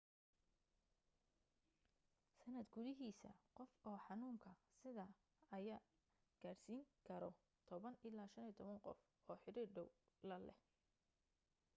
sanad gudihiisa qof oo xanuunka sida ayaa gaarsiin karo 10 ilaa 15 qof oo xiriir dhaw la leh